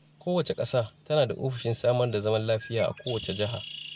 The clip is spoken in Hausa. Kowace ƙasa tana da ofishin samar da zaman lafiya a kowace jiha.